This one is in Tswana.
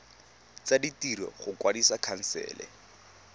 tsa ditiro go kwadisa khansele